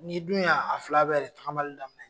N'i dun y' a fila bɛɛ de tagamali daminɛ.